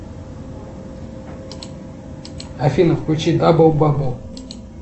афина включи дабл бабл